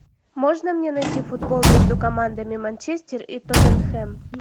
можно мне найти футбол между командами манчестер и тоттенхэм